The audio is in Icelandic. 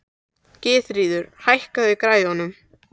Gyðríður, hækkaðu í græjunum.